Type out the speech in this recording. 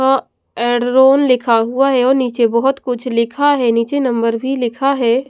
अह end लिखा हुआ है और नीचे बहुत कुछ लिखा है नीचे नंबर भी लिखा है।